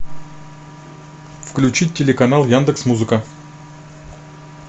включить телеканал яндекс музыка